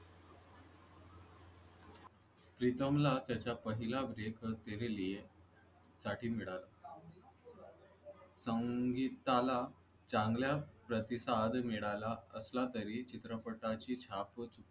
प्रीतमला त्याच्या पहिल्या तेरे लिये संगीताला चांगला प्रतिसाद मिळाला सांगितलं चांगल्या प्रतिसाद मिळाला असला तरी चित्रपटाची छापच